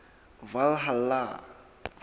valhalla